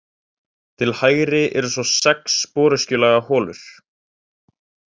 Til hægri eru svo sex sporöskjulaga holur.